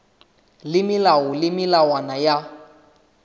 le melao le melawana ya